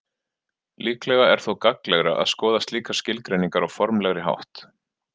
Líklega er þó gagnlegra að skoða slíkar skilgreiningar á formlegri hátt.